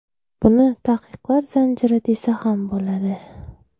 Buni taqiqlar zanjiri desa ham bo‘ladi.